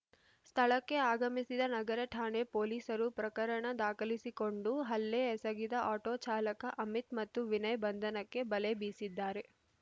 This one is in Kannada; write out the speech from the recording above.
ಸ್ಥಳಕ್ಕೆ ಆಗಮಿಸಿದ ನಗರ ಠಾಣೆ ಪೊಲೀಸರು ಪ್ರಕರಣ ದಾಖಲಿಸಿಕೊಂಡು ಹಲ್ಲೆ ಎಸಗಿದ ಆಟೋ ಚಾಲಕ ಅಮಿತ್‌ ಮತ್ತು ವಿನಯ್‌ ಬಂಧನಕ್ಕೆ ಬಲೆ ಬೀಸಿದ್ದಾರೆ